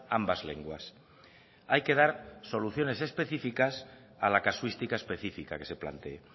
ambas lenguas hay que dar soluciones específicas a la casuística específica que se plantee